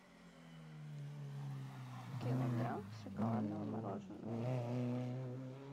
килограмм шоколадного мороженого